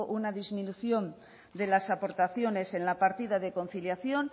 una disminución de las aportaciones en la partida de conciliación